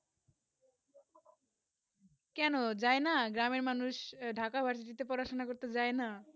কেনো জানাই না গ্রামে মানুষ ঢাকা বাড়ি থেকে পড়াশোনা করতে যায় না